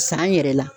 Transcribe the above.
San yɛrɛ la